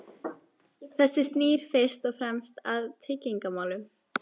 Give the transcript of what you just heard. Þetta snýr fyrst og fremst að tryggingamálum.